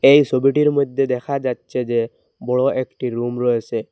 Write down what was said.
এই সবিটির মইধ্যে দেখা যাচ্ছে যে বড় একটি রুম রয়েসে।